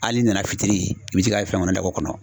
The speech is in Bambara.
Hali n'i nana fitiri i bɛ t'i k'a fɛn kɔnɔ kɔnɔ.